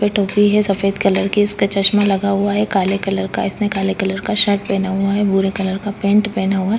--पे टोपी है सफ़ेद कलर की इसका चस्मा लगा हुआ है काले कलर का इसने काले कलर का शर्ट पहना हुआ है भूरे कलर का पेंट पहना हुआ है।